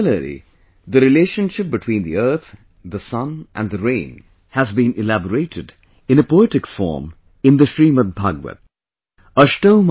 Similarly, the relationship between the earth, the sun and the rain has been elaborated in a poetic form in the Srimad Bhagavata